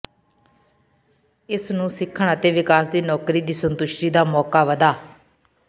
ਇਸ ਨੂੰ ਸਿੱਖਣ ਅਤੇ ਵਿਕਾਸ ਦੀ ਨੌਕਰੀ ਦੀ ਸੰਤੁਸ਼ਟੀ ਦਾ ਮੌਕਾ ਵਧਾ